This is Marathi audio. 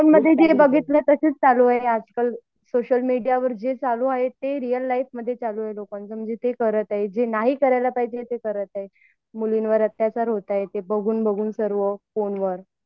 फोन मध्ये काय बघितले तेच चालू आहे आजकाल सोशल मीडियावर जे चालू आहे ते रियल लाईफ मध्ये चालु आहे लोकांच्या ते करत आहेत म्हणजे जे नाही करायला पाहिजे ते करत आहेत मुलींवर अत्याचार होत आहेत ते बघून बघून सर्व फोनवर